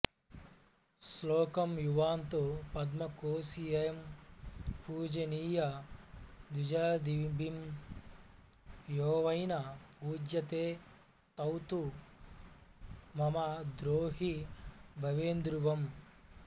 శ్లోకం యువాంతు పద్మకోశియైః పూజనీయ ద్విజాదిభిః యోవైన పూజ్యతే తౌతు మమ ద్రోహి భవేదృవం